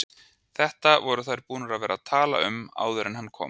Þetta voru þær búnar að vera að tala um áður en hann kom!